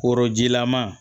Korojilama